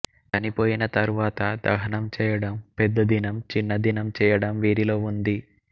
చనిపోయిన తరువాత దహనం చేయడం పెద్ద దినం చిన్నదినం చేయడం వీరిలో ఉంది